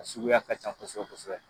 Suguya ka ca kosɛbɛ kosɛbɛ